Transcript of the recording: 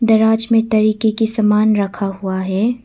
दराज में तरीके के सामान रखा हुआ हैं।